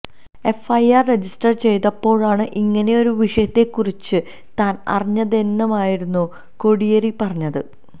FIR register ചെയ്തപ്പോഴാണ് ഇങ്ങനെയൊരു വിഷയത്തെ കുറിച്ച് താൻ അറിഞ്ഞതെന്നുമായിരുന്നു കോടിയേരി പറഞ്ഞത്